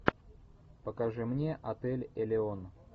покажи мне отель элеон